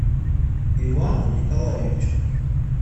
ивану николаевичу